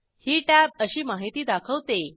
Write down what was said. ही tab अशी माहिती दाखवते